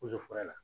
la